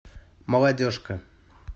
молодежка